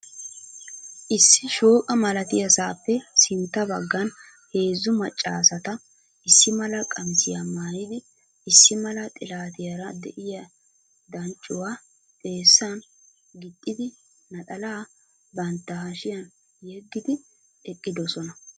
Issi shooqqa malatiyasaappe sintta baggan heezzu maccaasata issimala qamisiyaa maayid issimala xilatiyaara de'iyaa danccuwa xeessan gixxidi naxalaa bantta hashshiyan yegid eqqidosona.